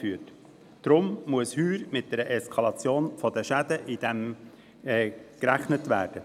Deshalb muss heuer mit einer Eskalation dieser Schäden gerechnet werden.